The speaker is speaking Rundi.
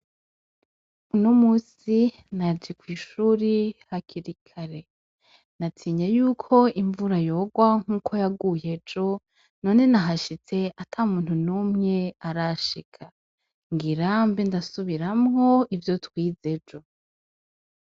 Uno musi naje kw'ishure hakiri kare, natinye yuko imvura yogwa nkuko yaguye ejo, none nahashitse ata muntu n'umwe arashika. Ngira mbe ndasubiramwo ivyo twize ejo.